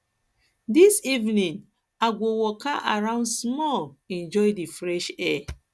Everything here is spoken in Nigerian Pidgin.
dis evening i go waka i go waka around small enjoy di fresh air